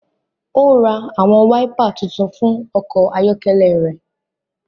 O n rá àwọn waipà tuntun fún ọkọ ayọkẹlẹ rẹ